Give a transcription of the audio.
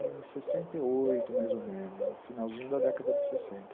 Olha, eu acho que em sessenta e oito, mais ou menos, no finalzinho da década de sessenta.